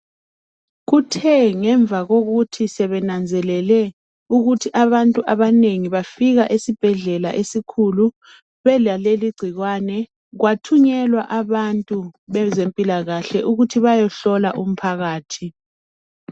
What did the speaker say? Kuthe ngemva kokuthi sebenanzelele ukuthi abantu abanengi bafika esibhedlela esikhulu belaleli ingcikwane kwathunyelwa abantu bezempilakahle ukuthi beyehlola umphakathi.